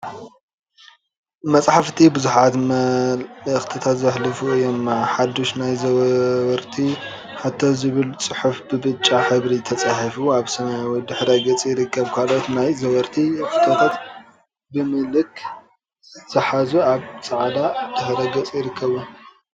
መፃሕፍቲ ቡዙሓት መልእክቲታት ዘሕልፉ እዮም፡፡ ሓዱሽ ናይ ዘወርቲ ሕቶ ዝብል ፅሑፍ ብብጫ ሕብሪ ተፃሒፉ አብ ሰማያዊ ድሕረ ገፅ ይርከብ፡፡ ካልኦት ናይ ዘወርቲ ሕቶታ ብምልክ ዘሓዙ አብ ፃዕዳ ድሕረ ገፅ ይርከቡ፡፡